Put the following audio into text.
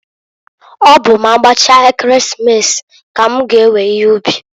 Ọ bụ m'agbachaa Ekeresimesi, k'm g'ewe ihe ubi.